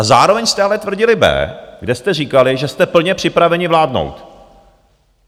A zároveň jste ale tvrdili b, kde jste říkali, že jste plně připraveni vládnout.